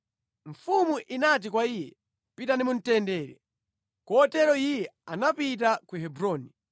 Mfumu inati kwa iye, “Pita mu mtendere” Kotero iye anapita ku Hebroni.